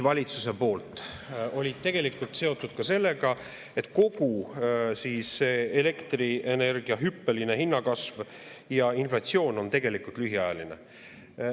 Valitsuse motiivid olid seotud sellega, et kogu elektrienergia hüppeline hinnakasv ja inflatsioon on tegelikult lühiajaline.